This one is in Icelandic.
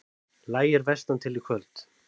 Lægir vestantil Í kvöld